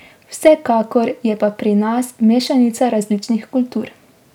Vsekakor je pa pri nas mešanica različnih kultur.